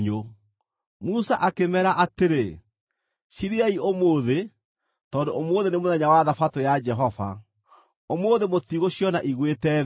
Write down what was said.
Musa akĩmeera atĩrĩ, “Cirĩei ũmũthĩ, tondũ ũmũthĩ nĩ mũthenya wa Thabatũ ya Jehova. Ũmũthĩ mũtigũciona igwĩte thĩ.